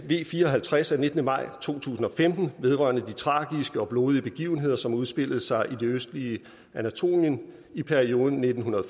v fire og halvtreds af nittende maj to tusind og femten vedrørende de tragiske og blodige begivenheder som udspillede sig i det østlige anatolien i perioden nitten